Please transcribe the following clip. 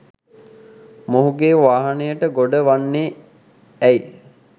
මොහුගේ වාහනයට ගොඩ වෙන්නේ ඇයි?